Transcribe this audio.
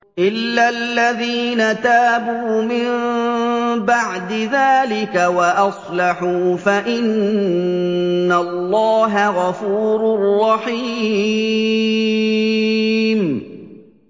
إِلَّا الَّذِينَ تَابُوا مِن بَعْدِ ذَٰلِكَ وَأَصْلَحُوا فَإِنَّ اللَّهَ غَفُورٌ رَّحِيمٌ